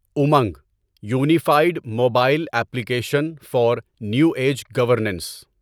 Umang unified mobile application for new age governance